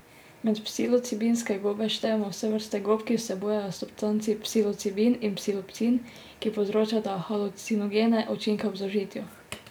Med psilocibinske gobe štejemo vse vrste gob, ki vsebujejo substanci psilocibin in psilocin, ki povzročata halucinogene učinke ob zaužitju.